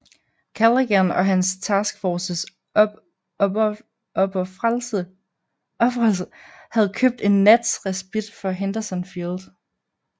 Callaghan og hans task forces opofrelse havde købt en nats respit for Henderson Field